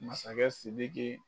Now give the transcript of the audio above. Masakɛ Sidiki